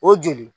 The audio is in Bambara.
O joli